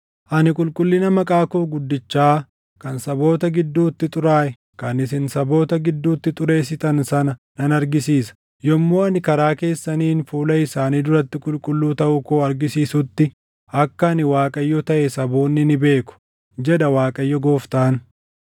Ani qulqullina maqaa koo guddichaa kan saboota gidduutti xuraaʼe kan isin saboota gidduutti xureessitan sana nan argisiisa. Yommuu ani karaa keessaniin fuula isaanii duratti qulqulluu taʼuu koo argisiisutti akka ani Waaqayyo taʼe saboonni ni beeku, jedha Waaqayyo Gooftaan.